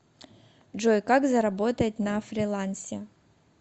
джой как заработать на фрилансе